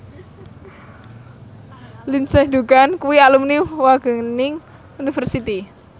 Lindsay Ducan kuwi alumni Wageningen University